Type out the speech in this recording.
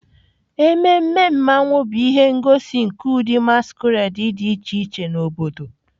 Ememe Mmanwu bụ ihe ngosi nke ụdị masquerade dị iche iche na obodo.